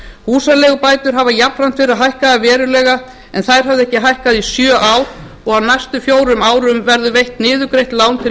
húsaleigubætur hafa jafnframt verið hækkaðar verulega en þær höfðu ekki hækkað í sjö ár og á næstu fjórum árum verður veitt niðurgreitt lán til